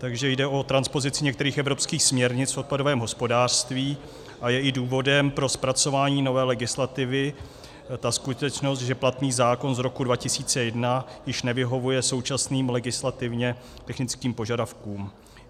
Takže jde o transpozici některých evropských směrnic v odpadovém hospodářství a je i důvodem pro zpracování nové legislativy ta skutečnost, že platný zákon z roku 2001 již nevyhovuje současným legislativně technickým požadavkům.